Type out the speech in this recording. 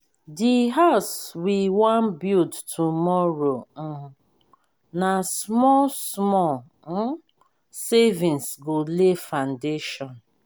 the house we wan build tomorrow um na small-small um savings go lay foundation.